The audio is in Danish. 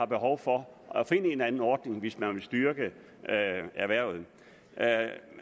behov for at finde en eller anden ordning hvis man vil styrke erhvervet